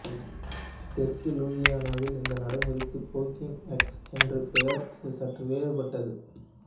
தெற்கு லூசியானாவில் இந்த நடைமுறைக்கு போக்கிங் எக்ஸ் என்று பெயர் இது சற்று வேறுபட்டது